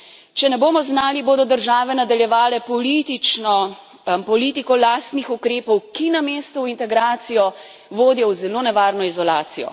Če ne bomo znali, bodo države nadaljevale politiko lastnih ukrepov, ki namesto v integracijo vodijo v zelo nevarno izolacijo.